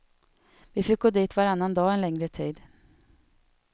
Vi fick gå dit varannan dag en längre tid.